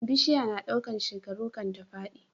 Bishiya na ɗaukar shekaru kan ta fadi